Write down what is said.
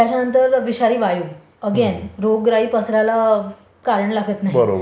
त्याच्यानंतर विषारी वायु. अगेन रोगराई पसरायला कारण लागत नाही.